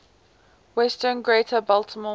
western greater baltimore